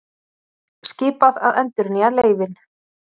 Skipað að endurnýja leyfin